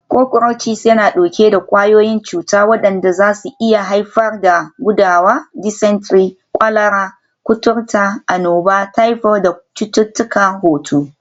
Cockroaches yana ɗauke da ƙwayoyin cuta waɗanda zasu iya haifar da gudawa, dysentery, kwalara, kuturta, annoba, typhoid da cututtukan hoto.